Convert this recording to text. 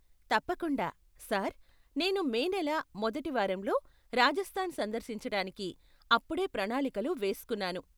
తప్పకుండా, సార్. నేను మే నెల మొదటి వారంలో రాజస్థాన్ సందర్శించటానికి అప్పుడే ప్రణాళికలు వేస్కున్నాను.